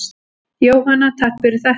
Jóhanna: Takk fyrir þetta.